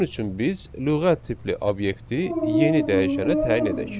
Bunun üçün biz lüğət tipli obyekti yeni dəyişənə təyin edək.